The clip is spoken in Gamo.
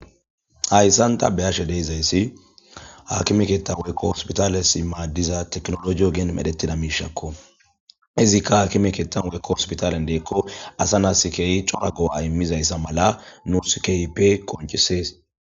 hayssanta beyashe deezayssi hakimekeetta wurekko ospitale si maaddiza teknolojiyo geen medhettida miishakko izikka hakime keetta wurekko ospitalen deekko asa naaskeyi corago aimizayssa mala nuskeyipe qoncisees